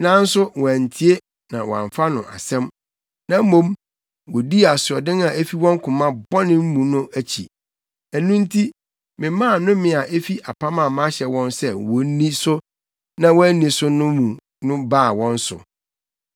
Nanso wɔantie na wɔamfa no asɛm; na mmom, wodii asoɔden a efi wɔn koma bɔne mu no akyi. Ɛno nti memaa nnome a efi apam a mahyɛ wɔn sɛ wonni so na wɔanni so no mu no baa wɔn so.’ ”